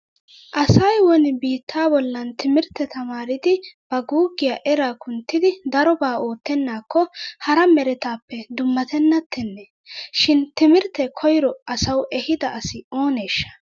Asay woni biittaa bollan timirtte tamaaridi ba guuggiya eraa kunttidi darobaa oottennaakko hara meretaappe dummatennattenne? Shin timirtte koyro asawu ehida asi ooneeshsha?